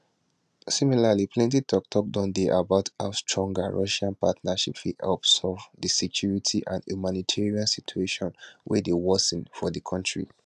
similarly plenti toktok dey about how a stronger russian partnership fit help solve di security and humanitarian situation wey dey worsen for di kontri